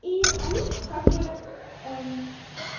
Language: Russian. и они как бы